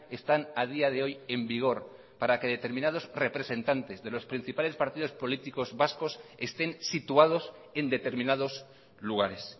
están a día de hoy en vigor para que determinados representantes de los principales partidos políticos vascos estén situados en determinados lugares